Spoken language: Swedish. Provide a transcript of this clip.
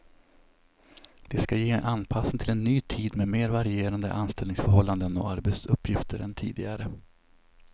Det ska ge en anpassning till en ny tid med mer varierande anställningsförhållanden och arbetsuppgifter än tidigare.